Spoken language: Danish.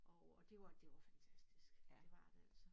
Og og det var det var fantastisk det var det altså